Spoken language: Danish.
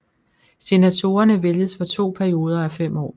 Senatorerne vælges for to perioder af fem år